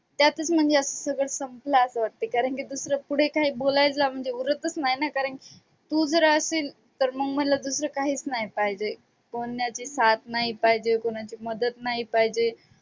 त्यातच म्हणजे असं सगळं संपलं असं वाटते कारण की दुसरं पुढे काय बोलायला म्हणजे उरतच नाही ना कारण तू जर असेल तर मग मला दूसरं काहीच नाही पाहिजे. कोणाची साथ नाही पाहिजे कोणाची मदत नाही पाहिजे.